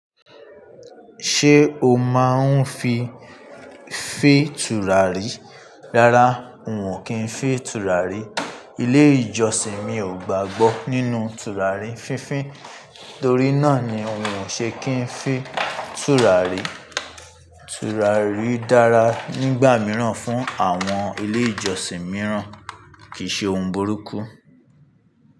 Ṣé o máa ń fi fín tùràrí? Rárá, n ò kí ń fín tùràrí. Ilé-ìjọsìn mi ò gbàgbọ́ nínú tùràrí fínfín, torí náà ni n ò ṣe kí ń fín tùràrí. Tùràrí dára nígbà mìíràn fún àwọn ilé-ìjọsìn mìíràn, kì í ṣe ohun burúkú.